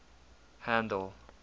handle